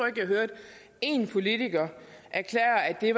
at jeg hørte en politiker erklære at det